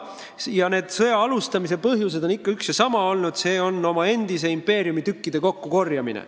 Ja nende sõdade alustamise põhjus on üks ja sama olnud, st oma endise impeeriumi tükkide kokkukorjamine.